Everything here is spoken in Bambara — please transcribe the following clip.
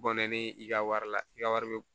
Bɔnɛ ni i ka wari la i ka wari bɛ